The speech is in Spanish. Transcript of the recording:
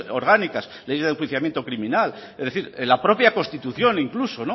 orgánicas ley de enjuiciamiento criminal es decir la propia constitución incluso